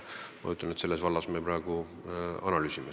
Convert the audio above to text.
Praegu me seda kõike analüüsime.